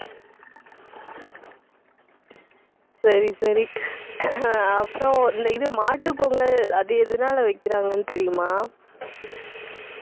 சரி, சரி அப்புறம், இந்த இது மாட்டுப் பொங்கல் அது எதனால வைக்கறாங்கன்னு தெரியுமா